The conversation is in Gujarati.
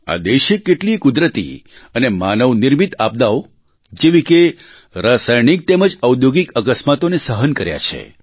આ દેશે કેટલીય કુદરતી અને માનવનિર્મિત આપદાઓ જેવી કે રસાયણિક તેમજ ઔધૌગિક અકસ્માતોને સહન કર્યા છે